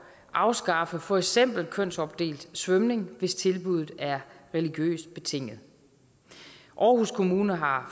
afskaffe for eksempel kønsopdelt svømning hvis tilbuddet er religiøst betinget aarhus kommune har